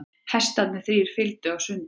Hestarnir þrír fylgdu á sundi.